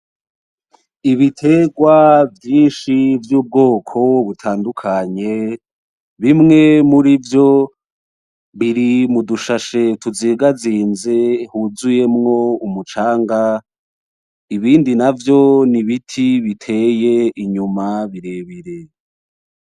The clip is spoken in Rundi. Ibitegwa vyinshi vy'ubwoko butandukanye bimwe murivyo biri mudu shashe tuzingazinze twuzuyemwo umucanga, ibindi navyo nibiti biteye inyuma birebire.